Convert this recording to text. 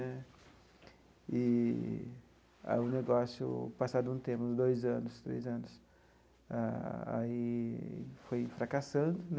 Né eee aí o negócio, passado um tempo, uns dois anos, três anos, ah aí foi fracassando né.